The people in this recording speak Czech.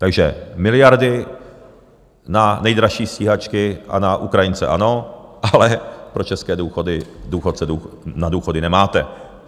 Takže miliardy na nejdražší stíhačky a na Ukrajince ano, ale pro české důchodce na důchody nemáte.